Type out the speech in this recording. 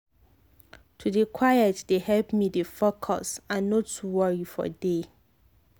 to dey quiet dey help me dey focus and no too worry for day.